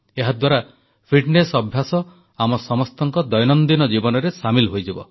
ଏହାଦ୍ୱାରା ଫିଟନେସ ଅଭ୍ୟାସ ଆମ ସମସ୍ତଙ୍କ ଦୈନନ୍ଦିନ ଜୀବନରେ ସାମିଲ ହୋଇଯିବ